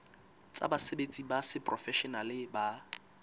tsa basebetsi ba seprofeshenale ba